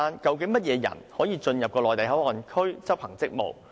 究竟甚麼人員可以進入內地口岸區執行職務？